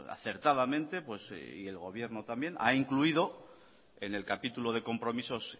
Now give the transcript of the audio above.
acertadamente y el gobierno también ha incluido en el capítulo de compromisos